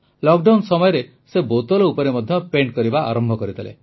lockdown ସମୟରେ ସେ ବୋତଲ ଉପରେ ମଧ୍ୟ ଚିତ୍ର କରିବା ଆରମ୍ଭ କରିଦେଲେ